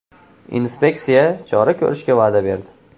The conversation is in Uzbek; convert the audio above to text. Inspeksiya chora ko‘rishga va’da berdi.